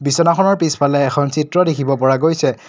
বিচনাখনৰ পিছফালে এখন চিত্ৰ দেখিব পৰা গৈছে।